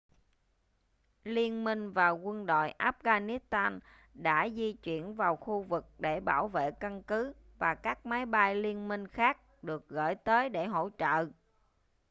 liên minh và quân đội afghanistan đã di chuyển vào khu vực để bảo vệ căn cứ và các máy bay liên minh khác được gửi tới để hỗ trợ